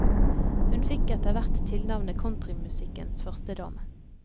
Hun fikk etter hvert tilnavnet countrymusikkens førstedame.